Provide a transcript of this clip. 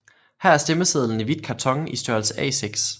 Her er stemmesedlen i hvidt karton i størrelsen A6